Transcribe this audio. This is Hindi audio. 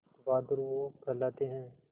बहादुर वो कहलाते हैं